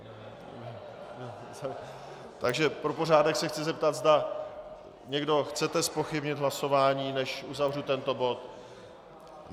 Takže pro pořádek se chci zeptat, zda někdo chcete zpochybnit hlasování, než uzavřu tento bod.